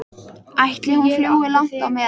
Ætli hún fljúgi langt á meðan?